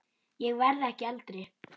Ég verð ekki eldri.